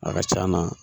A ka c'a na